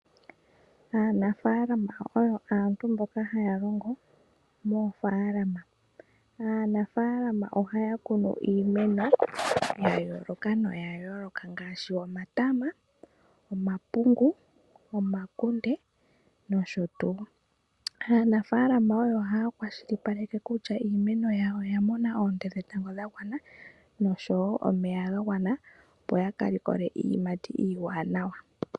Aanafaalama oyo aantu mboka haya longo moofaalama. Aanafaalama ohaya kunu iimeno ya yooloka noyayooloka ngaashi omatama, omapungu, omakunde nosho tuu. Aanafaalama ohaya kwashilipaleke kutya iimeno yawo oya mona oonte dhetango dha gwana noshowo omeya ga gwana, opo ya ka likole iiyimati iiwanawa.